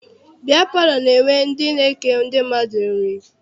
Biya palọ na-enwe ndị na-eke ndị mmadụ nri.